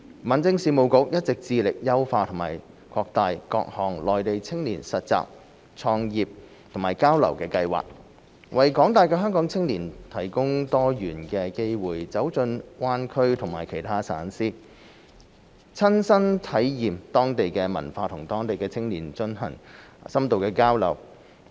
民政事務局一直致力優化和擴大各項內地青年實習、創業及交流計劃，為廣大香港青年提供多元化的機會走進灣區和其他省市，親身體驗當地文化及與當地青年進行深度交流。